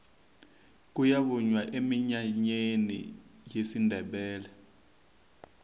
kuyavunywa eminyanyeni yesindebele